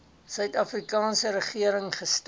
suidafrikaanse regering gestig